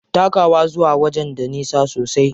Takawa zuwa wajen da nisa sosai.